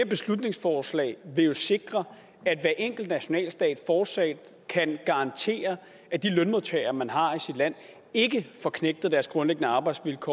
beslutningsforslag vil jo sikre at hver enkelt nationalstat fortsat kan garantere at de lønmodtagere man har i sit land ikke får knægtet deres grundlæggende arbejdsvilkår